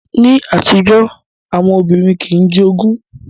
Ní àtijọ́, àwọn obìnrin kìí jogún